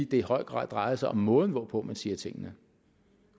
det i høj grad drejer sig om måden hvorpå man siger tingene